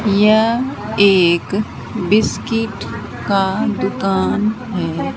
यह एक बिस्कुट का दुकान है।